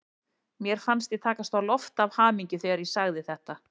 Mér fannst ég takast á loft af hamingju þegar ég sagði þetta.